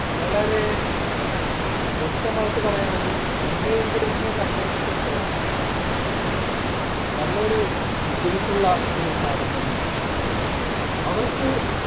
വളരെ വ്യക്തമായിട്ട് പറയാണെങ്കിൽ മുംബൈ indians സംബന്ധിച്ചിടത്തോളം നല്ലൊരു ബുദ്ധിമുട്ടുള്ള ഒരു കാര്യം തന്നെ അവർക്ക്